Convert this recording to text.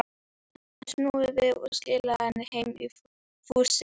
Hann hafði snúið við og skilað henni heim í fússi.